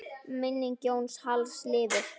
Minning Jóns Halls lifir.